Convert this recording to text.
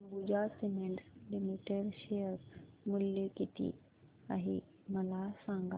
Ambuja cements limited share मूल्य किती आहे मला सांगा